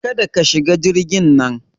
Kada ka shiga jirgin nan!